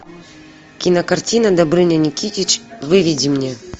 кинокартина добрыня никитич выведи мне